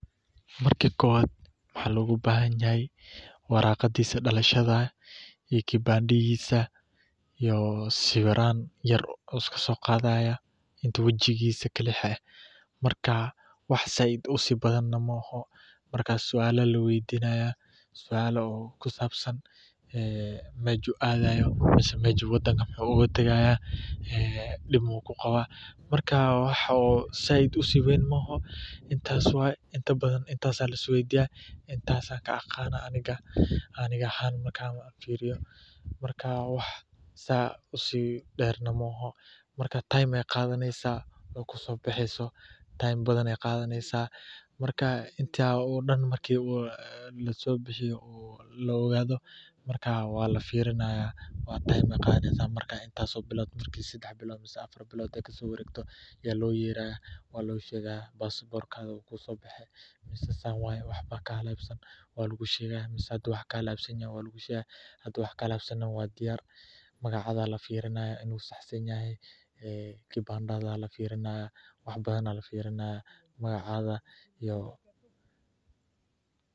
Marka kowaad waxaa loga bahan yahay waraqaadisa dalashaada iyo kibandadhisa iyo sawiran yar ayu iska so qadhaya wajigisa marka suala aya laweydinaya oo aa aad ubadnen ee meju adaye iyo wuxuu wadanka oga tagaya ee dibka u qawa, marka inta badan intas aya lisweydiyaa intas ayan ka aqana aniga marka time ayey qadaneysaa kusobaxeyso waqti badan ayey qadhaneysa marka intas dan laso bixiyo, marku usobaxo waa lo shegaya basaborkadha wuu ku sobaxe san waye wax ba kahalansan, magacaadha aya lafirinaya kibandadhaada aya lafinaya magacadha iyo.